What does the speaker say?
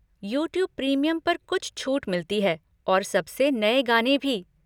YouTube premium पर कुछ छूट मिलती है और सबसे नए गाने भी।